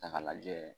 Ta k'a lajɛ